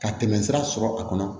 Ka tɛmɛ sira sɔrɔ a kɔnɔ